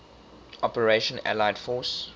operation allied force